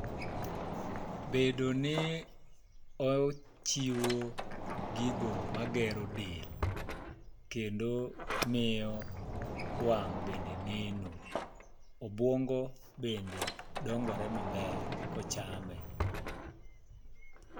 Bedo ni ow chiwo gigo ma gero del, kedno miyo wang' bende neno. Obwongo bende dongore maber, kochame.